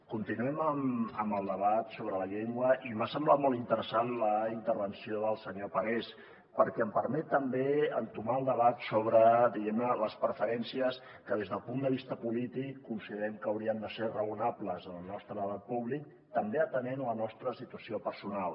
continuem amb el debat sobre la llengua i m’ha semblat molt interessant la intervenció del senyor parés perquè em permet també entomar el debat sobre diguem ne les preferències que des del punt de vista polític considerem que haurien de ser raonables en el nostre debat públic també atenent la nostra situació personal